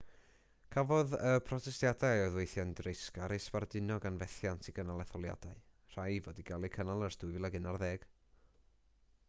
cafodd y protestiadau oedd weithiau'n dreisgar eu sbarduno gan fethiant i gynnal etholiadau rhai i fod i gael eu cynnal ers 2011